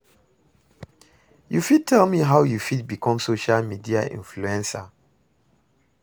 You fit tell me how you fit become social media influencer?